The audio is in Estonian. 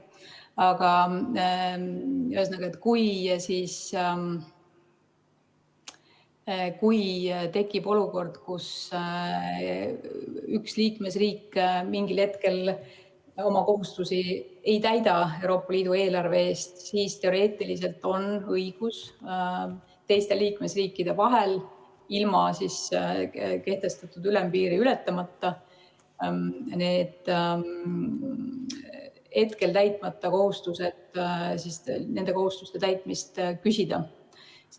Aga ühesõnaga, kui tekib olukord, kus üks liikmesriik mingil hetkel oma kohustusi Euroopa Liidu eelarve ees ei täida, siis teoreetiliselt on õigus teiste liikmesriikide vahel ilma kehtestatud ülempiiri ületamata nende täitmata kohustuste täitmise küsida.